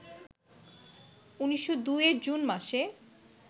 ১৯০২ এর জুন মাসে